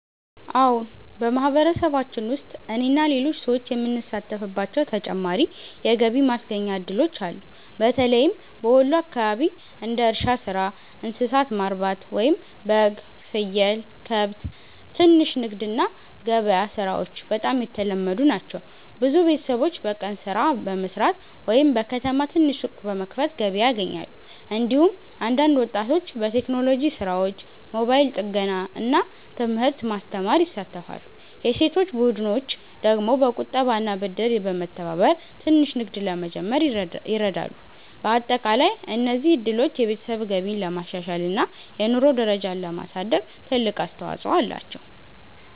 አዎን፣ በማህበረሰባችን ውስጥ እኔና ሌሎች ሰዎች የምንሳተፍባቸው ተጨማሪ የገቢ ማስገኛ እድሎች አሉ። በተለይም በወሎ አካባቢ እንደ እርሻ ሥራ፣ እንስሳት ማርባት (በግ፣ ፍየል፣ ከብት)፣ ትንሽ ንግድ እና ገበያ ሥራዎች በጣም የተለመዱ ናቸው። ብዙ ቤተሰቦች በቀን ሥራ በመስራት ወይም በከተማ ትንሽ ሱቅ በመክፈት ገቢ ያገኛሉ። እንዲሁም አንዳንድ ወጣቶች በቴክኖሎጂ ሥራዎች፣ ሞባይል ጥገና እና ትምህርት ማስተማር ይሳተፋሉ። የሴቶች ቡድኖች ደግሞ በቁጠባና ብድር በመተባበር ትንሽ ንግድ ለመጀመር ይረዳሉ። በአጠቃላይ እነዚህ እድሎች የቤተሰብ ገቢን ለማሻሻል እና የኑሮ ደረጃን ለማሳደግ ትልቅ አስተዋፅኦ አላቸው።